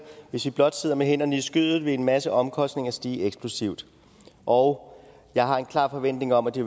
hvis vi blot sidder med hænderne i skødet vil en masse omkostninger stige eksplosivt og jeg har en klar forventning om at det